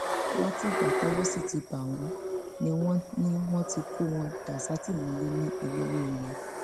látìgbà tọwọ sì ti bá wọn ni wọn ni wọn ti kó wọn dà sátìmọlé ní ẹlẹwẹẹràn